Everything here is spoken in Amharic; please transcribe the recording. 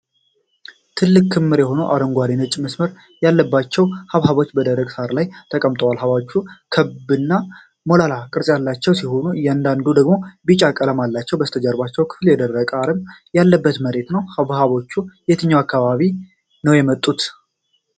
ትልቅ ክምር የሆኑ አረንጓዴና ነጭ መስመሮች ያላቸው ሐብሐቦች በደረቅ ሳር ላይ ተቀምጠዋል። ሐብሐቦቹ ክብ እና ሞላላ ቅርጾች ያላቸው ሲሆን፣ አንዳንዶቹ ደግሞ ቢጫ ቀለም አላቸው። የበስተጀርባው ክፍል የደረቀ አረም ያለበት መሬት ነው። ሐብሐቦቹ ከየትኛው አካባቢ ነው የመጡት?